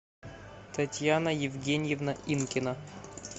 татьяна евгеньевна инкина